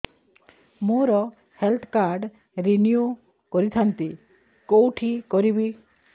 ମୋର health card renew କରିଥାନ୍ତି କୋଉଠି କରିବି